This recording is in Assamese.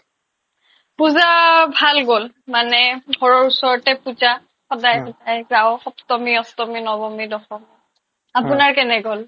পূজা ভাল গ'ল মানে ঘৰৰ ওচৰতে পূজা সদাই সদাই যাও সপ্তমী অষ্টমী নৱমী দশমী আপোনাৰ কেনে গ'ল ?